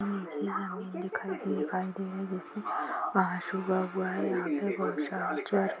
नीचे जमीन दिखाई दिखाई दे रही है इसमें हुआ है यह पे बहुत सारे--